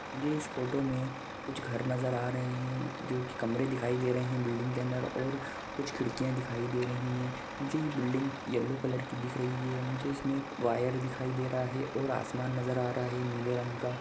मुझे इस फोटो में कुछ घर नजर आ रहे है जो की कमरे दिखाई दे रहे है बिल्डिंग के अंदर और कुछ खिड़किया दिखाई दे रही है मुझे ये बिल्डिंग येलो कलर की दिख रही है मुझे इसमें एक वायर दिखाई दे रहा है और आसमान नजर आ रहा है नीले रंग का --